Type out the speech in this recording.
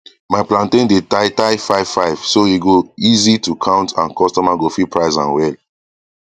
my plantain dey tie tie five five so e go easy to count and customer go fit price am well